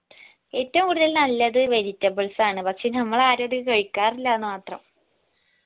ഏറ്റവും കൂടുതൽ നല്ലത് vegetables ആണ് പക്ഷെ നമ്മൾ ആരു അത് കഴിക്കാരില്ലാന്ന് മാത്രം